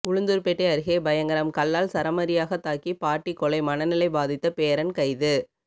உளுந்தூர்பேட்டை அருகே பயங்கரம் கல்லால் சரமாரியாக தாக்கி பாட்டி கொலை மனநிலை பாதித்த பேரன் கைது